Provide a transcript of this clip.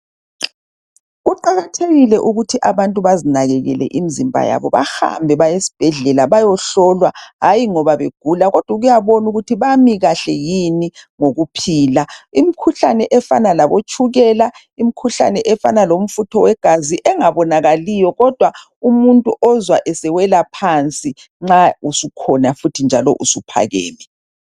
Kuqakathekile ukuthi abantu bazinakekele imizimba yabo, bahambe bayesibhedlela .Labayohlolwa , hayi ngoba begula kodwa ukubona ukuthi bami kahle yini ngokuphila. Imikhuhlane efana labotshukela, imikhuhlane efana lomfutho wegazi engabonakaliyo kodwa umuntu ozwa esewela phansi nxa usukhona futhi njalo usuphakeme.